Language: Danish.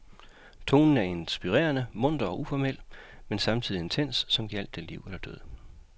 Tonen er inspirerende munter og uformel, men samtidig intens, som gjaldt det liv eller død.